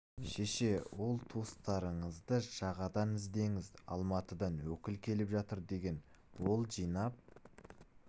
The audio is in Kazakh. шеше ол туыстарыңызды жағадан іздеңіз алматыдан өкіл келіп жатыр деген ол жинап